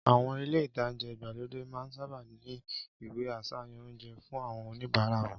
Àwọn ilé-ìtánjẹ igbalode máa n sáábà ní ìwé àsàyàn oúnjẹ fun awon onibara won